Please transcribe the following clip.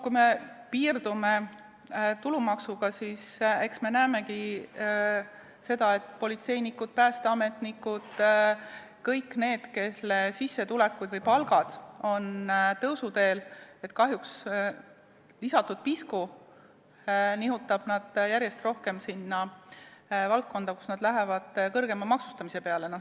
Kui me piirdume tulumaksuga, siis eks me näemegi seda, et politseinikke, päästeametnikke, kõiki neid, kelle sissetulekud või palgad on tõusuteel, nihutab lisatud pisku kahjuks järjest rohkem sinna, kus neid hakatakse kõrgemalt maksustama.